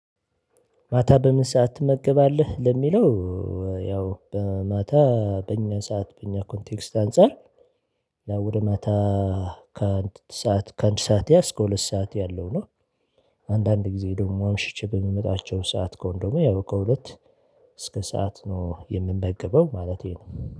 ማታ በምን ሰዓት ትመገባለህ ለሚለው? ያው በማታ በእኛ ሰዓት በእኛ ኮንቴክስት አንፃር ወደ ማታ ከአንድ ሰዓት ከአንድ ሰዓት እስከ ከሁለት ሰዓት ያለው ነው። አንዳንድ ጊዜ ደግሞ አምሽቼ በምመጣቸው ሰዓት ከሆነ ደግሞ ያው ከሁለት እስከ ሰዓት ነው የምመገበው ማለቴ ነው